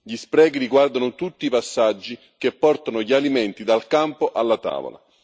Gli sprechi riguardano tutti i passaggi che portano gli alimenti dal campo alla tavola.